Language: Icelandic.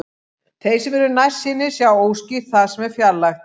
Þeir sem eru nærsýnir sjá óskýrt það sem er fjarlægt.